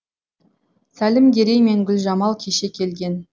сәлімгерей мен гүлжамал кеше келген